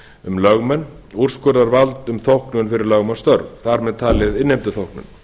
um lögmenn úrskurðarvald um þóknun fyrir lögmannsstörf þar með talið innheimtuþóknun